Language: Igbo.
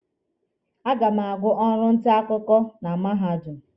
A ga m agụ ọrụ nta akwụkwọ na mahadum.